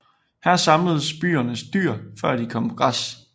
Her samledes byens dyr før de kom på græs